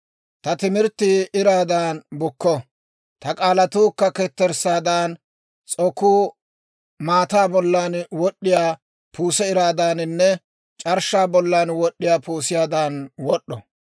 Ta timirttii iraadan bukko; ta k'aalatuukka ketterssaadan, s'okuu maataa bollan wod'd'iyaa puuse iraadaaninne c'arshshaa bollan wod'd'iyaa puusiyaadan wod'd'o.